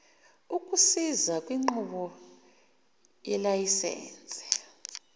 ukukusiza kwinqubo yelayisense